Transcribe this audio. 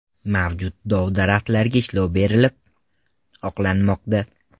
Mavjud dov-daraxtlarga ishlov berilib, oqlanmoqda.